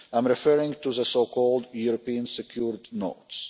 I am referring to the so called European Secured Notes.